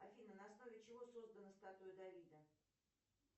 афина на основе чего создана статуя давида